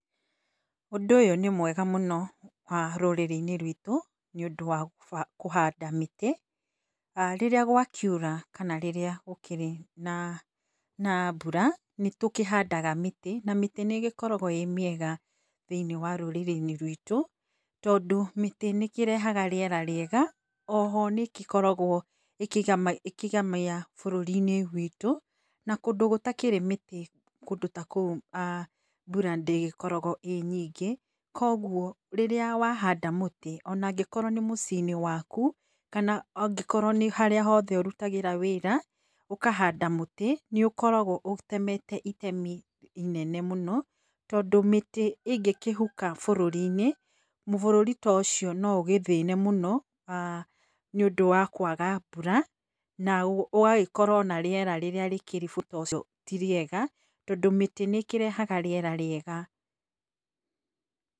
Ũndũ ũyũ nĩ mwega mũno rũrĩrĩ-inĩ rwitũ, nĩ ũndũ wa kũhanda mĩtĩ, rĩrĩa gwakiura kana rĩrĩa gũkĩrĩ na mbura nĩ tũkĩhandaga mĩtĩ, na mĩtĩ nĩ ĩgĩkoragwo ĩ mĩega thĩiniĩ wa rũrĩrĩ-inĩ rwitũ, tondũ mĩtĩ nĩ ĩkĩrehaga rĩera rĩega, o ho nĩ ĩkĩkoragwo ĩkĩgemia bũrũri witũ, na kũndũ gũtakĩrĩ mĩtĩ, kũndũ ta kũu mbura ndĩgĩkoragwo ĩ nyingĩ, kũguo rĩrĩa wa handa mũtĩ ona angĩkorwo nĩ mũciĩ-inĩ waku, kana angĩkorwo nĩ harĩa hothe ũrutagĩra wĩra, ũkahanda mũtĩ nĩ ũkoragwo ũtemete itemi inene mũno, tondũ mĩtĩ ĩngĩkĩhuka bũrũri-inĩ, bũrũri ta ũcio no ũgĩthĩne mũno, aah nĩ ũndũ wa kwaga mbura, na ũgagĩkorwo na rĩera rĩrĩa rĩkĩrĩ ũcio ti rĩega, tondũ mĩtĩ nĩ ĩkĩrehaga rĩera rĩega.